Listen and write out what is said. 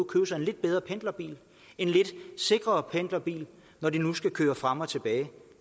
købe sig en lidt bedre pendlerbil en lidt sikrere pendlerbil når de nu skal køre frem og tilbage